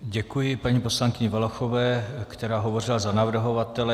Děkuji paní poslankyni Valachové, která hovořila za navrhovatele.